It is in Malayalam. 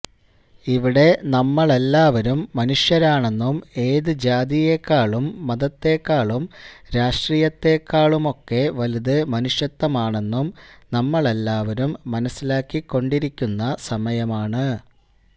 ഇവിടെ നമ്മളെല്ലാവരും മനുഷ്യരാണെന്നും ഏത് ജാതിയെക്കാളും മതത്തെക്കാളും രാഷ്ട്രീയത്തെക്കാളുമൊക്കെ വലുത് മനുഷ്യത്വമാണെന്നും നമ്മളെല്ലാവരും മനസിലാക്കിക്കൊണ്ടിരിക്കുന്ന സമയമാണ്